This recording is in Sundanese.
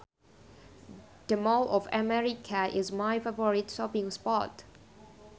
The Mall of America is my favorite shopping spot